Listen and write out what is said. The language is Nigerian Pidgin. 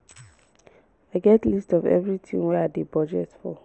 i get list of everything wey i dey budget for